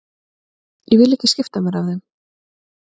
Ég vil ekki skipta mér af þeim.